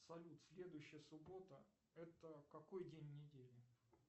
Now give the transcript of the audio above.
салют следующая суббота это какой день недели